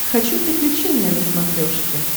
хочу приключения на смотрешке